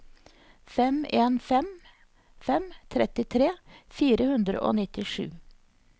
fem en fem fem trettitre fire hundre og nittisju